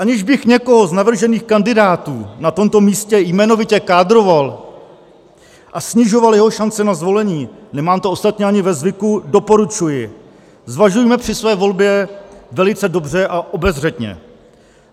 Aniž bych někoho z navržených kandidátů na tomto místě jmenovitě kádroval a snižoval jeho šance na zvolení, nemám to ostatně ani ve zvyku, doporučuji, zvažujme při své volbě velice dobře a obezřetně.